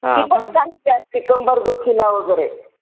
ती पण चांगली असते कंबरदुखीला वगैरे.